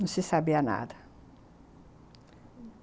Não se sabia nada.